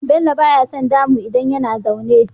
Bello baya son damu idan yana zane